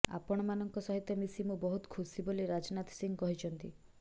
ଆପଣମାନଙ୍କ ସହିତ ମିଶି ମୁଁ ବହୁତ ଖୁସି ବୋଲି ରାଜନାଥ ସିଂହ କହିଛନ୍ତି